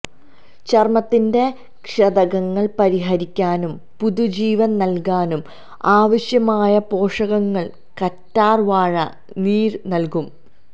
ചര്മ്മത്തിന്റെ ക്ഷതങ്ങള് പരിഹരിക്കാനും പുതുജീവന് നല്കാനും ആവശ്യമായ പോഷകങ്ങള് കറ്റാര് വാഴ നീര് നല്കും